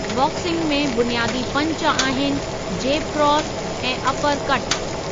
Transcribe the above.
Boxing में बुनियादी punch आहिनि जेब क्रास ऐं अपर कटु।